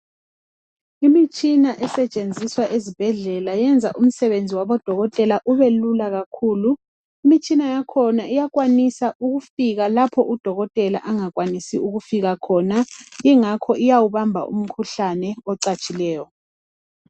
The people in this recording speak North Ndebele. Imitshina esetshenziswa ezibhedlela uyenza umsebenzi wabodokotela ubelula kakhulu imitshina iyakwanisa ukufika lapho udokotela angakwanisi ukufika khona ngakho iyawubamba umkhuhlane ocatshileyo